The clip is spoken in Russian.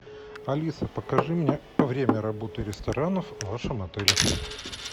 алиса покажи мне время работы ресторанов в вашем отеле